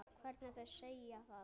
Hvernig þau segja það.